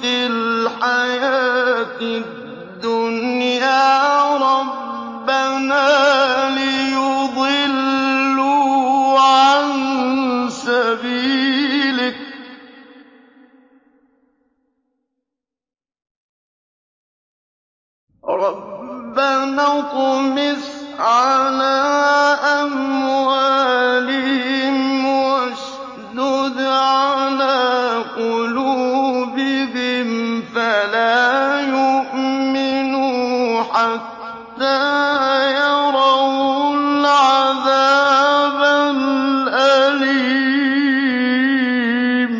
فِي الْحَيَاةِ الدُّنْيَا رَبَّنَا لِيُضِلُّوا عَن سَبِيلِكَ ۖ رَبَّنَا اطْمِسْ عَلَىٰ أَمْوَالِهِمْ وَاشْدُدْ عَلَىٰ قُلُوبِهِمْ فَلَا يُؤْمِنُوا حَتَّىٰ يَرَوُا الْعَذَابَ الْأَلِيمَ